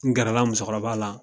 N gɛrɛla musokɔrɔba la